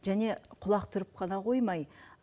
және құлақ түріп қана қоймай